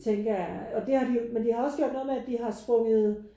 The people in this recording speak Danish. Tænker jeg og det har de jo men de har også gjort noget med at de har jo sprunget